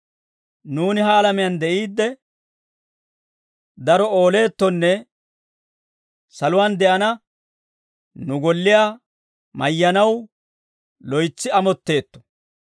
Nuuni ha alamiyaan de'iidde daro ooleettonne saluwaan de'ana nu golliyaa mayyanaw loytsi amotteetto.